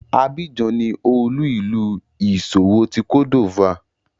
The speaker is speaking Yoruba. Abidjan ni olu-ilu iṣowo ti Côte d'Ivoire.